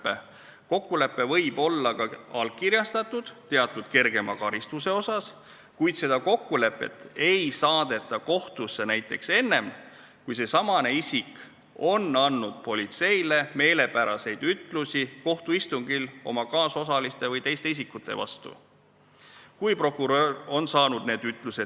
Teatud kergema karistuse kokkulepe võib olla ka allkirjastatud, kuid seda ei saadeta kohtusse näiteks enne, kui see isik on andnud kohtuistungil oma kaasosaliste või teiste isikute vastu politseile meelepäraseid ütlusi.